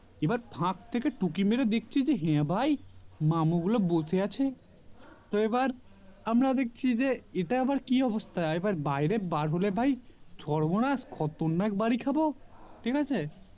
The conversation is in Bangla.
এবার থাক থেকে টুকি মেরে দেখছি হ্যাঁ ভাই মামু গুলো বসে আছে তো আবার আমরা দেখছি এটা আবার কি অবস্থা আবার বাইরে বার হলে ভাই সর্বনাশ খতরনাক বাড়ি খাবো ঠিক আছে